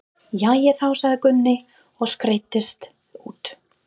Jæja þá, sagði Gunni og skreiddist út.